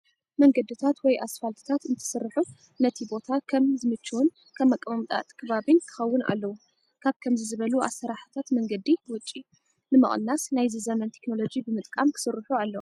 መንገድታት ወይ ኣስፋልትታት እንትስርሑ ነቲ ቦታ ከም ከምዝምችውን ከም ኣቀማምጣ እቲ ከባቢን ክኸውን ኣለዎ። ካብ ከምዚ ዝበሉ ኣሰራርሓታት መንገዲ ወጪ ንምቅናስ ናይዚ ዘመን ቴክኖሎጂ ብምጥቃም ክስርሑ ኣለዎም።